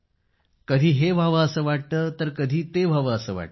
कधी हे व्हावे असं वाटतं तर कधी ते व्हावं असं वाटतं